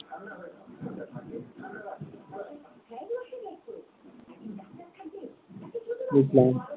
বুঝলাম।